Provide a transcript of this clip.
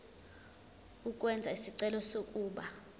ukwenza isicelo sokuba